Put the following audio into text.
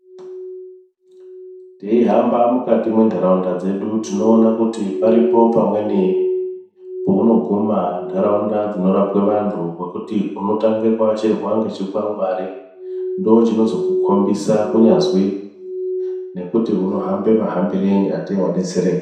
Teihamba mukati mwendaraunda dzedu tinoona kuti paripo pamweni paunoguma ndaraunda dzinogara vanhu pekuti unotanga kuashirwa nechikwangwari ndochinozo kukombidza kunyazi nekuti unohamba muhambireyi ateyi wabetsereka.